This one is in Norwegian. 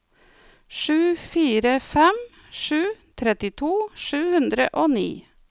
sju fire fem sju trettito sju hundre og ni